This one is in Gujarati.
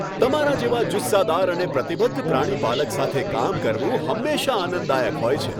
તમારા જેવા જુસ્સાદાર અને પ્રતિબદ્ધ પ્રાણીપાલક સાથે કામ કરવું હંમેશા આનંદદાયક હોય છે.